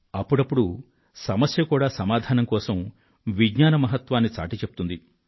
అప్పుడప్పుడు సమస్య కూడా సమాధానం కోసం విజ్ఞాన మహత్వాన్ని చాటిచెప్తుంది